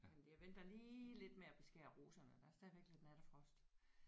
Men det jeg venter lige lidt med at beskære roserne der er stadigvæk lidt nattefrost